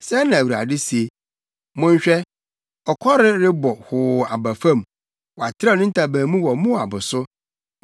Sɛɛ na Awurade se: “Monhwɛ! ɔkɔre rebɔ hoo aba fam. Watrɛw ne ntaban mu wɔ Moab so.